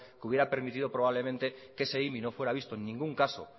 que hubiera permitido probablemente que ese imi no fuera visto en ningún caso